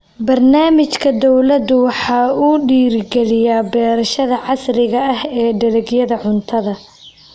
Barnaamijka dawladdu waxa uu dhiirigeliyaa beerashada casriga ah ee dalagyada cuntada.